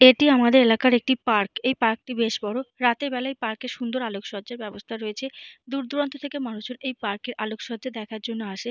এটি আমাদের এলাকার একটি পার্ক । এই পার্ক টি বেশ বড়। রাতের বেলা এই পার্ক -এ সুন্দর আলোকসজ্জার ব্যবস্থা রয়েছে। দূর দূরান্ত থেকে মানুষ এই পার্ক এর আলোকসজ্জা দেখার জন্য আসে।